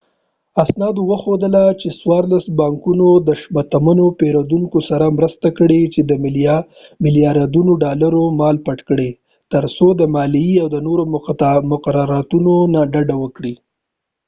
اسنادو وښودله چې څوارلس بانکونو د شتمنو پیرودونکو سره مرسته کړې چې د ملیاردونو ډالرو مال پټ کړی ترڅو د مالیې او نورو مقرراتو نه ډډه وکړي